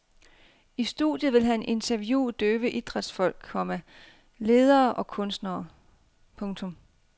I studiet vil han interviewe døve idrætsfolk, komma ledere og kunstnere. punktum